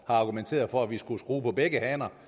argumenteret for at vi skulle skrue på begge haner